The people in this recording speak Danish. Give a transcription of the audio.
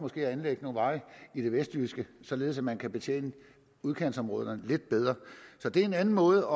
at anlægge nogle veje i det vestjyske således at man kan betjene udkantsområderne lidt bedre så det er en anden måde